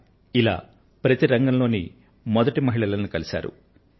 ఇలా ప్రతి రంగంలోని మొదటి మహిళలతో రాష్ట్రపతి గారు భేటీ అయ్యారు